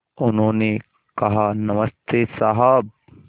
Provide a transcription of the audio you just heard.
उन्होंने कहा नमस्ते साहब